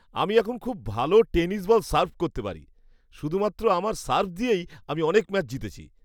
আমি এখন খুব ভালো টেনিস বল সার্ভ করতে পারি। শুধুমাত্র আমার সার্ভ দিয়েই আমি অনেক ম্যাচ জিতেছি।